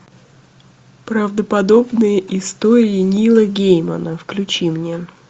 правдоподобные истории нила геймана включи мне